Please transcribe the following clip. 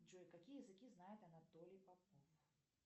джой какие языки знает анатолий попов